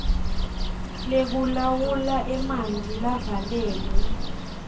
lekulawula emanti lavalelwe